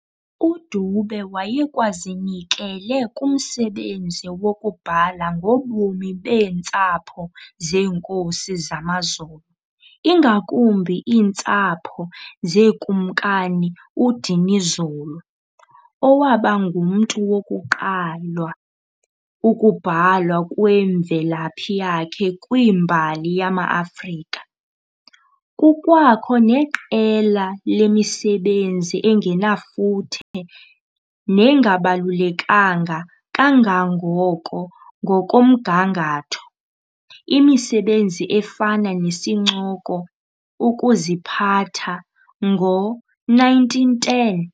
UDube wayekwazinikele kumsebenzi wokubhala ngobomi beentsapho zeenkosi zamaZulu, ingakumbi iintsapho zeeNkumkani uDinizulu, owaba ngumntu wokuqalwa ukubhalwa kwemvelaphi yakhe kwimbali yamaAfrika. Kukwakho neqela lemisebenzi engenafuthe nengabalulekanga kangako ngokomgangatho, imisebenzi efana nesincoko"Ukuziphatha" ngo-1910.